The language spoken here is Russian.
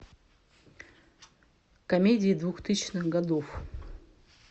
комедии двухтысячных годов